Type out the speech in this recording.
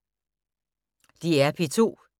DR P2